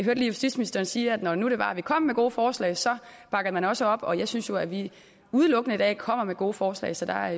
lige justitsministeren sige at når nu det var at vi kom med gode forslag så bakker man også op og jeg synes jo at vi udelukkende i dag kommer med gode forslag så der